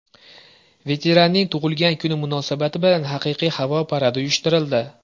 Veteranning tug‘ilgan kuni munosabati bilan haqiqiy havo paradi uyushtirildi.